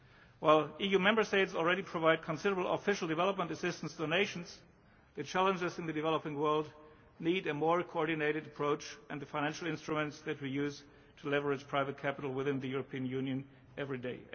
While EU Member States already provide considerable official development assistance to the nations, the challenges in the developing world need a more coordinated approach and the financial instruments that we use to leverage private capital within the European Union every